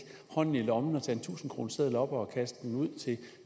hånden i lommen og tage en tusindkroneseddel op og kaste den ud til